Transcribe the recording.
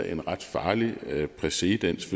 en ret farlig præcedens